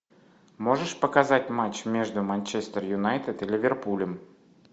можешь показать матч между манчестер юнайтед и ливерпулем